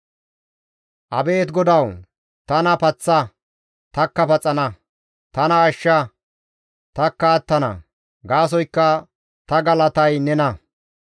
Abeet GODAWU! Tana paththa; tanikka paxana; tana ashsha; tanikka attana; gaasoykka ta galatay nena.